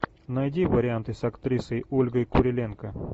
найди варианты с актрисой ольгой куриленко